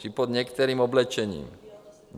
I pod některým oblečením.